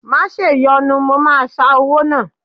Má ṣèyọnu, mo máa ṣa owó náà.